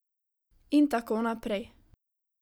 In tako naprej...